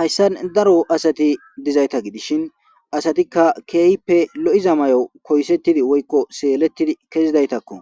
Hayssan daro asatti dizaytta gidishin asatikka keehippe loiza mayo koyisettidii woykko seelletidii kezidayttakko